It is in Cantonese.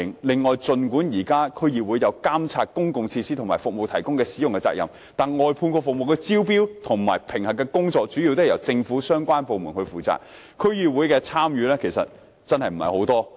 另外，儘管現時區議會有責任監察公共設施和服務的提供及使用，但外判服務的招標和評核工作主要由政府相關部門負責，區議會的參與其實並不多。